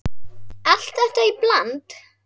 Allt þetta í bland?